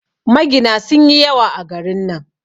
Magina sun yi yawa a garin nan